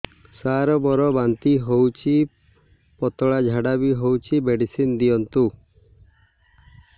ସାର ମୋର ବାନ୍ତି ହଉଚି ପତଲା ଝାଡା ବି ହଉଚି ମେଡିସିନ ଦିଅନ୍ତୁ